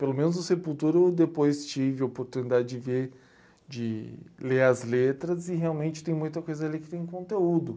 Pelo menos o Sepultura eu depois tive a oportunidade de ver, de ler as letras, e realmente tem muita coisa ali que tem conteúdo.